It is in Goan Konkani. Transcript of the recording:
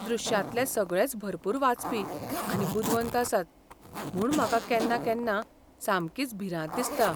दृश्यांतले सगळेच भरपूर वाचपी आनी बुदवंत आसात, म्हूण म्हाका केन्ना केन्ना सामकीच भिरांत दिसता.